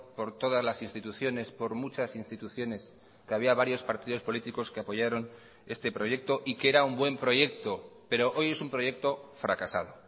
por todas las instituciones por muchas instituciones que había varios partidos políticos que apoyaron este proyecto y que era un buen proyecto pero hoy es un proyecto fracasado